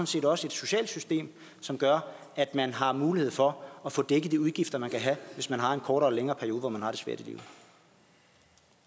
set også et socialt system som gør at man har mulighed for at få dækket de udgifter man kan have hvis man har en kortere eller længere periode hvor man har det svært